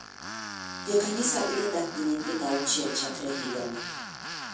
Jo kanisa biro dak gi nyithido auchiel chakre higani.